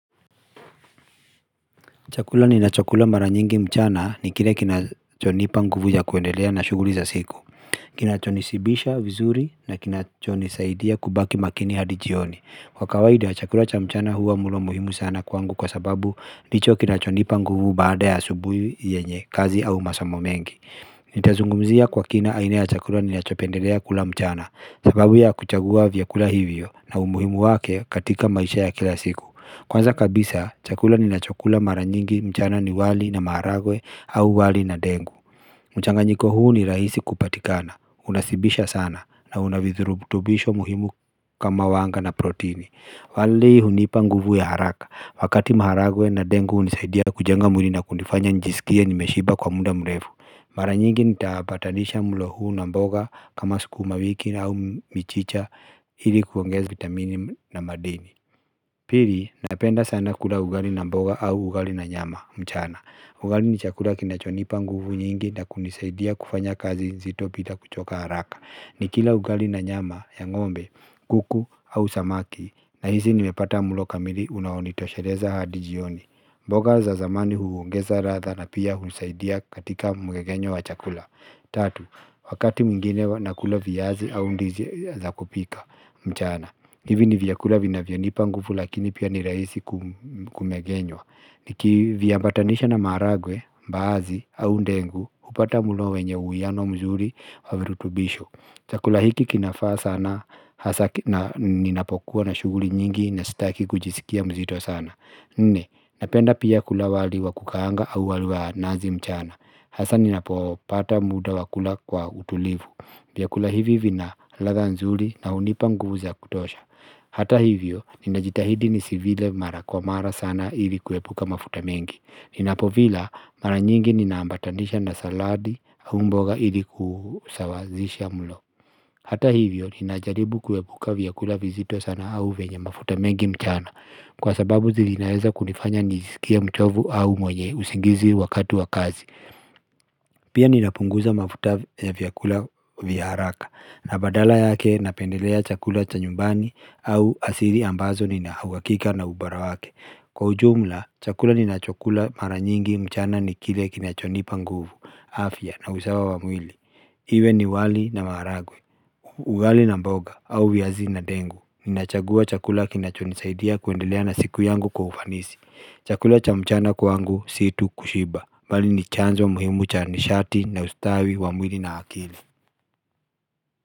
Chakula ninachokula mara nyingi mchana ni kile kinachonipa nguvu ya kuendelea na shughuli za siku Kinacho nishibisha vizuri na kinachonisaidia kubaki makini hadi jioni Kwakawaida chakula cha mchana huwa mlo muhimu sana kwangu kwa sababu ndicho kinachonipa nguvu baada ya asubuhi yenye kazi au masomo mengi Nitazungumzia kwa kina aina ya chakula ninachopendelea kula mchana sababu ya kuchagua vyakula hivyo na umuhimu wake katika maisha ya kila siku Kwanza kabisa chakula ninacho kula maranyingi mchana ni wali na maharagwe au wali na dengu mchanganyiko huu ni rahisi kupatikana unashibisha sana na unavirubutubisho muhimu kama wanga na protini Walii hunipa nguvu ya haraka wakati maharagwe na dengu unisaidia kujenga mwini na kunifanya nijisikia nimeshiba kwa muda mrefu Maranyingi nitapatanisha mlo huu na mboga kama sukuma wiki au michicha Ili kuongeza vitamini na madini Pili napenda sana kula ugali na mboga au ugali na nyama mchana ugali ni chakula kinachonipa nguvu nyingi na kunisaidia kufanya kazi nzito bila kuchoka haraka ni kila ugali na nyama ya ng'ombe kuku au samaki nahisi nimepata mlo kamili unaonitosheleza hadi jioni mboga za majani huongeza ladha na pia husaidia katika mmeng'enyo wa chakula Tatu wakati mwingine nakula viazi au ndizi za kupika mchana hivi ni vyakula vinavyonipa nguvu lakini pia ni rahisi kumegenywa Niki viaambatanisha na maaragwe mbaazi au dengu upata mlo wenye uiano mzuri wa virutubisho chakula hiki kinafaa sana hasa ninapokuwa na shuguli nyingi na staki kujisikia mzito sana Nne napenda pia kula wali wa kukaanga au wali wa nazi mchana Hasa ninapopata muda wakula kwa utulivu vyakula hivi vina ladha nzuri na hunipanguvu za kutosha Hata hivyo ninajitahidi ni sivile mara kwa mara sana hili kuepuka mafuta mengi Ninapo vila mara nyingi ninaambatanisha na saladi au mboga hili kuusawazisha mlo Hata hivyo ninajaribu kuepuka vyakula vizito sana au venya mafuta mengi mchana Kwa sababu vinaweza kunifanya nijisikie mchovu au mwenye usingizi wakati wa kazi Pia ninapunguza mafuta ya vyakula vyaharaka na badala yake napendelea chakula cha nyumbani au asili ambazo nina uhawakika na ubara wake Kwa ujumla chakula ninachokula maranyingi mchana ni kile kinachonipa nguvu afya na usawa wa mwili Iwe ni wali na maaragwe wali na mboga au viazi na dengu Ninachagua chakula kinachonisaidia kuendelea na siku yangu kwa ufanisi chakula cha mchana kuangu situ kushiba bali ni chanzo muhimu cha nishati na ustawi wa mwili na akili.